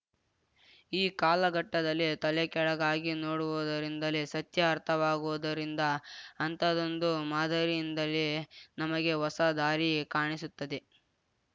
ಈ ಕಾಲಘಟ್ಟದಲ್ಲಿ ತಲೆ ಕೆಳಗಾಗಿ ನೋಡುವುದರಿಂದಲೇ ಸತ್ಯ ಅರ್ಥವಾಗುವುದರಿಂದ ಅಂಥದೊಂದು ಮಾದರಿಯಿಂದಲೇ ನಮಗೆ ಹೊಸ ದಾರಿ ಕಾಣಿಸುತ್ತದೆ